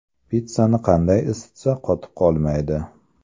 Pitssani qanday isitsa qotib qolmaydi?